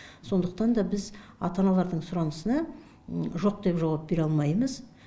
сондықтан да біз ата аналардың сұранысына жоқ деп жауап бере алмаймыз